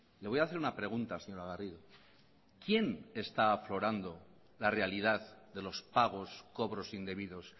le voy a hacer una pregunta señora garrido quién está aflorando la realidad de los pagos cobros indebidos